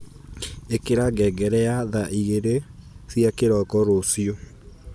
ikira ngengere ya thaa igiri cia kiroko ruciu